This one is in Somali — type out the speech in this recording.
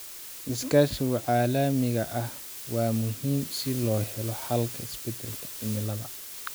Iskaashiga caalamiga ah waa muhiim si loo helo xalka isbedelka cimilada.